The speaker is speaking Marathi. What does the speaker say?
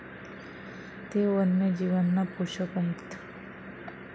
ते वन्यजीवांना पोषक आहेत.